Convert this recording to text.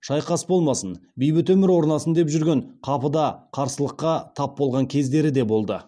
шайқас болмасын бейбіт өмір орнасын деп жүрген қапыда қарсылыққа тап болған кездері де болды